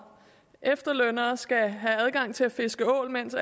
efterlønnere skal have adgang til at fiske ål mens